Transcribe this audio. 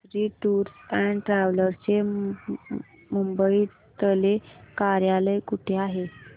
Kesari tours and travels चे मुंबई तले कार्यालय कुठे आहे